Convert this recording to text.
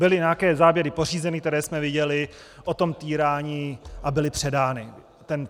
Byly nějaké záběry pořízeny, které jsme viděli, o tom týrání a byly předány.